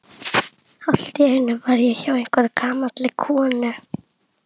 Allt í einu var ég hjá einhverri gamalli konu.